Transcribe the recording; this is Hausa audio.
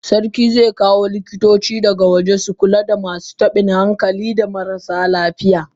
Sarki zekawo likitoci daga kasan waje su Kula da masu tabin hankali da marasa lafiya.